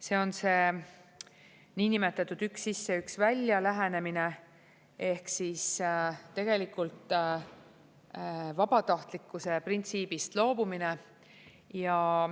See on see niinimetatud üks-sisse-üks-välja-lähenemine ehk siis tegelikult vabatahtlikkuse printsiibist loobumine.